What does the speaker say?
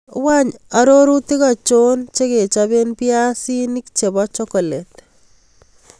Wany arorutik achonchegechapen biasinik chebo chokolet